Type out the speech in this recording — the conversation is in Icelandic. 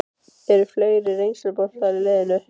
Eru fleiri reynsluboltar í liðinu?